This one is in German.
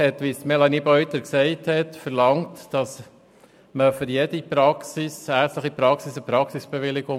Wie Melanie Beutler erwähnt hat, verlangt das Postulat für jede ärztliche Praxis eine Praxisbewilligung.